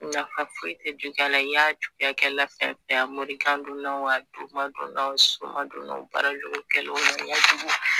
Nafa foyi tɛ juguya la i y'a juguyakɛla fɛn fɛn ye a morikandonna o a sumankandonna o barajugukɛlaw